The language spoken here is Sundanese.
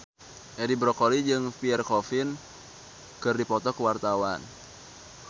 Edi Brokoli jeung Pierre Coffin keur dipoto ku wartawan